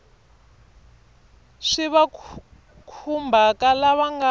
swi va khumbhaka lava nga